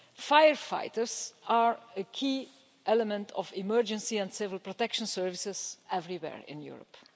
Firefighters are a key element of emergency and civil protection services everywhere in Europe.